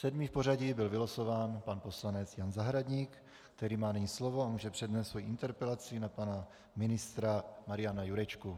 Sedmý v pořadí byl vylosován pan poslanec Jan Zahradník, který má nyní slovo a může přednést svoji interpelaci na pana ministra Mariana Jurečku.